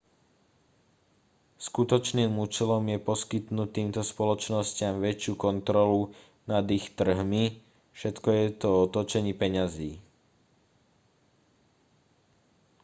skutočným účelom je poskytnúť týmto spoločnostiam väčšiu kontrolu nad ich trhmi všetko je to o točení peňazí